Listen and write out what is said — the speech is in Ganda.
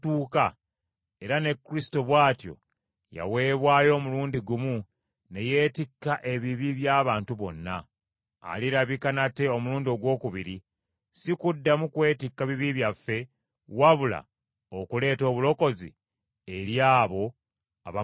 era ne Kristo bw’atyo yaweebwayo omulundi gumu ne yeetikka ebibi by’abantu bonna. Alirabika nate omulundi ogwokubiri, si kuddamu kwetikka bibi byaffe, wabula okuleeta obulokozi eri abo abamulindirira.